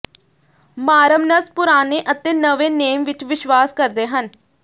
Mormons ਪੁਰਾਣੇ ਅਤੇ ਨਵੇਂ ਨੇਮ ਵਿਚ ਵਿਸ਼ਵਾਸ ਕਰਦੇ ਹਨ